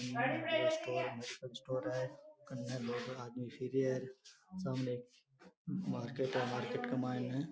medical store है कन्ने लोग आदमी फिरे है सामने एक मार्केट है मार्केट के मायने --